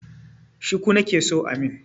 Shuku nake so a mun.